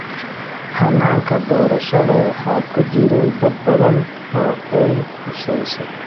Hannaanka doorashada waxaa ku jiray dad badan oo ay khuseyso.